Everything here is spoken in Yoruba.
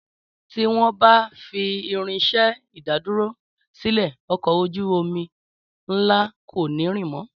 Tí wọn bá fi Irinsé ìdádúró sílè ọkọ̀ ojú omi ńlá kò ní rìn mọ